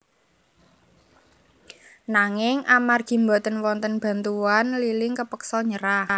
Nanging amargi boten wonten bantuwan Li Ling kapeksa nyerah